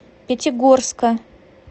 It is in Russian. пятигорска